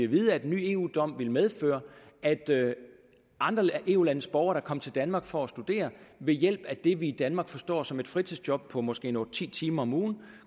vide at en ny eu dom ville medføre at andre eu landes borgere der kom til danmark for at studere ved hjælp af det vi i danmark forstår som et fritidsjob på måske otte ti timer om ugen